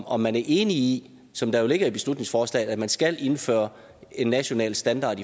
om man er enig i som det jo ligger i beslutningsforslaget at man skal indføre en national standard